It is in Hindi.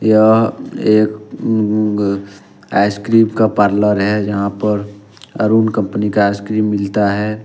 यह एक आईसक्रीम का पार्लर है जहां पर अरुन कंपनी का आईसक्रीम मिलता है।